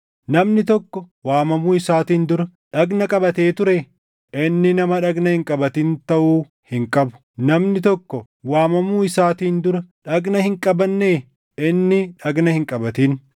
Namni tokko waamamuu isaatiin dura dhagna qabatee ture? Inni nama dhagna hin qabatin taʼuu hin qabu. Namni tokko waamamuu isaatiin dura dhagna hin qabannee? Inni dhagna hin qabatin.